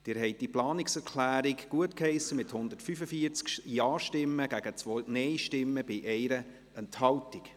Sie haben diese Planungserklärung gutgeheissen mit 145 Ja- zu 2 Nein-Stimmen bei 1 Enthaltung.